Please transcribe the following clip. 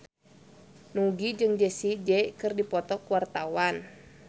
Nugie jeung Jessie J keur dipoto ku wartawan